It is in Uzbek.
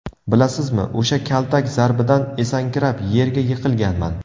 Bilasizmi, o‘sha kaltak zarbidan esankirab, yerga yiqilganman.